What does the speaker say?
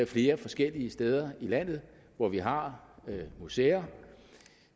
flere forskellige steder i landet hvor vi har museer